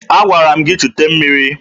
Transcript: Agwara m gị jee chute mmiri!